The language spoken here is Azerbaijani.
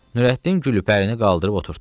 Nurəddin Gülpərini qaldırıb oturddu.